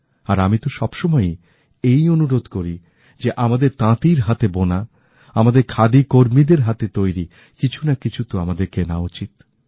আর আমি তো সবসময়ই এই অনুরোধ করি যে আমাদের তাঁতির হাতে বোনা আমাদের খাদি কর্মীদের হাতে তৈরি কিছুনাকিছু তো আমাদের কেনা উচিৎ